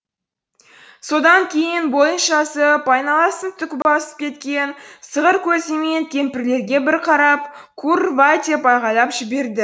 содан кейін бойын жазып айналасын түк басып кеткен сығыр көзімен кемпірлерге бір қарап кур рва деп айқайлап жіберді